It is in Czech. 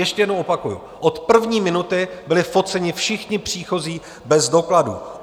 Ještě jednou opakuji, od první minuty byli foceni všichni příchozí bez dokladů.